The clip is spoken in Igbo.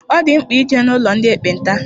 Ọ dị mkpa ije n'ụlọ ndị ekpenta.